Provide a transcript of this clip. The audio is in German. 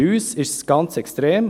Bei uns ist es ganz extrem.